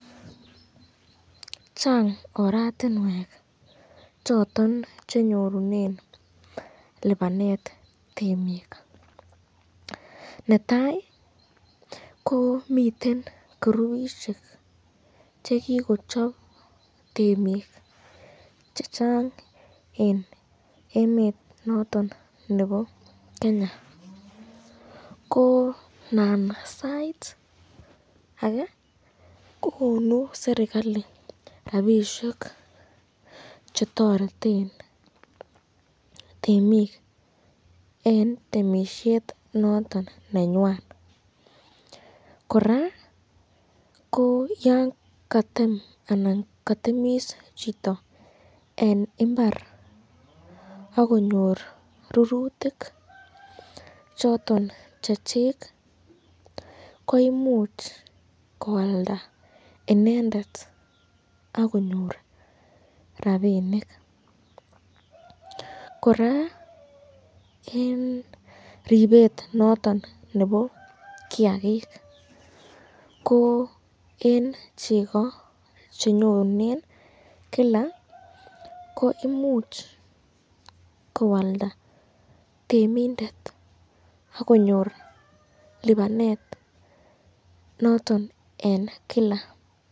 Chang oratinwek choton che nyorunen lipanet temik. Netai ko miten kurubishek che kigochop temik chechnag en emet noton nebo Kenya, ko nan sait age ko konu serkalit rabishek che toreten temik en temisiet noton nenywan. Kora ko yan katem anan kotemis chito en mbar ak konyor rurutik choton che chik koimuch koalda inendet ak konyor rabinik. Kora en ribet noton nebo kiyagik ko en chego che nyorunen kila ko imuch koalda tmeindet ak konyor lipanet noton en kila.